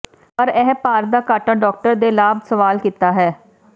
ਪਰ ਇਹ ਭਾਰ ਦਾ ਘਾਟਾ ਡਾਕਟਰ ਦੇ ਲਾਭ ਸਵਾਲ ਕੀਤਾ ਹੈ